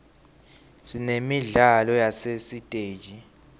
sinemidlalo yasesiteji